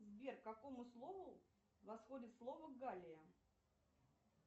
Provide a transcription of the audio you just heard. сбер к какому слову восходит слово галия